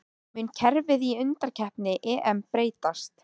Mun kerfið í undankeppni EM breytast?